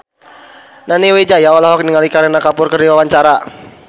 Nani Wijaya olohok ningali Kareena Kapoor keur diwawancara